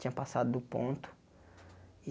Tinha passado do ponto.